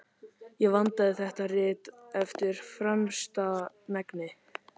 Ég vandaði þetta rit eftir fremsta megni.